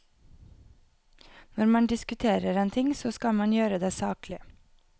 Når man diskuterer en ting, så skal man gjøre det saklig.